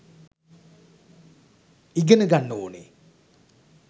ඉගෙන ගන්න ඕනෙ